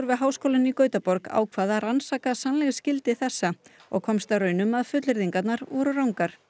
við Háskólann í Gautaborg ákvað að rannsaka sannleiksgildi þessa og komst að raun um að fullyrðingarnar voru rangar